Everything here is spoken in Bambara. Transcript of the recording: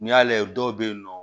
N'i y'a layɛ dɔw bɛ yen nɔ